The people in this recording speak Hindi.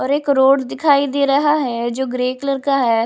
और एक रोड दिखाई दे रहा है जो ग्रे कलर का है।